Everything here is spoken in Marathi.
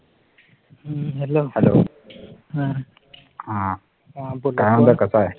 hello काय म्हणतो कसा आहे